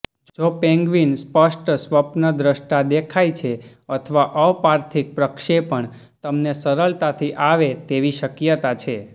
જો પેન્ગ્વિન સ્પષ્ટ સ્વપ્નદ્રષ્ટા દેખાય છે અથવા અપાર્થિક પ્રક્ષેપણ તમને સરળતાથી આવે તેવી શક્યતા છે